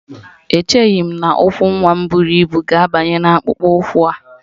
Echeghị m na ụkwụ nwa m buru ibu ga-abanye n'akpụkpọ ụkwụ a